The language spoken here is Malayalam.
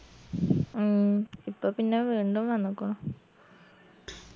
ഉം ഇപ്പൊ പിന്ന വീണ്ടും വന്നുക്കു